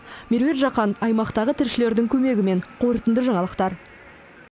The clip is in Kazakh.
меруерт жақан аймақтағы тілшілердің көмегімен қорытынды жаңалықтар